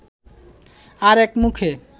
আরেক মুখে